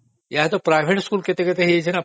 ଏବେ ତ private school କେତେ ହେଇଗଲାଣି ନା